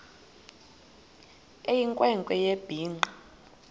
eyinkwe nkwe ebhinqe